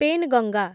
Penganga